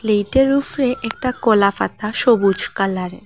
এটার উফরে একটা কলাপাতা সবুজ কালারের।